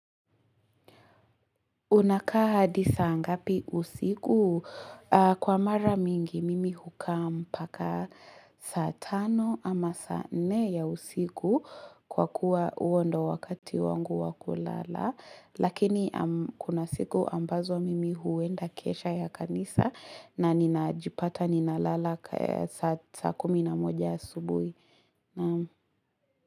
Unakaa hadi saa ngapi usiku? Kwa mara mingi mimi hukaa mpaka saa tano ama saa nne ya usiku kwa kuwa huo ndio wakati wangu wakulala. Lakini kuna siku ambazo mimi huenda kesha ya kanisa na ninajipata ninalala saa kumi na moja asubuhi.